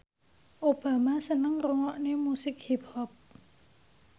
Obama seneng ngrungokne musik hip hop